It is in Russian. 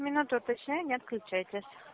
минуту уточняю не отключайтесь